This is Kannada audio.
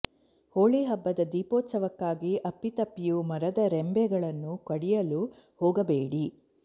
ಹೋಳಿ ಹಬ್ಬದ ದೀಪೋತ್ಸವಕ್ಕಾಗಿ ಅಪ್ಪಿತಪ್ಪಿಯೂ ಮರದ ರೆಂಭೆಗಳನ್ನು ಕಡಿಯಲು ಹೋಗಬೇಡಿ